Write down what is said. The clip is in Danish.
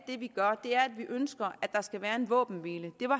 gør er at vi ønsker at der skal være en våbenhvile